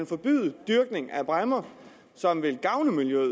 forbyde dyrkning af bræmmer som vil gavne miljøet